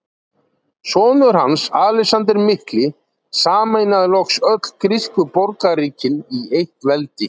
Sonur hans, Alexander mikli, sameinaði loks öll grísku borgríkin í eitt veldi.